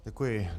Děkuji.